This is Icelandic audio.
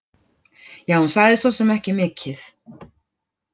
Ja, hún sagði svosem ekki mikið.